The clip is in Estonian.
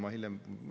Ma hiljem ...